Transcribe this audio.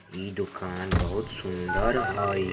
इ डूकान बोहोत सुंदर हई।